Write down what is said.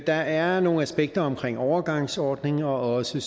der er nogle aspekter omkring overgangsordninger og også